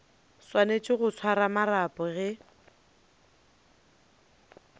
swanetše go swara marapo ge